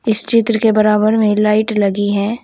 इस चित्र के बराबर में लाइट लगी है।